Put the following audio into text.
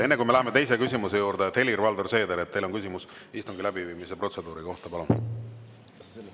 Enne kui me läheme teise küsimuse juurde, Helir-Valdor Seeder, teil on küsimus istungi läbiviimise protseduuri kohta, palun!